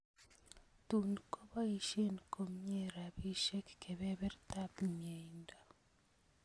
Tuun koboisyen komie rabisek kebebertab myeindo